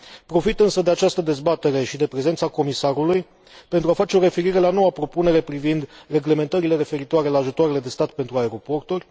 Profit însă de această dezbatere și de prezența Comisarului pentru a face referire la noua propunere privind reglementările referitoare la ajutoarele de stat pentru aeroporturi.